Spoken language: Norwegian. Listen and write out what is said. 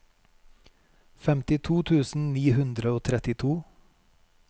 femtito tusen ni hundre og trettito